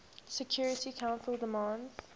security council demands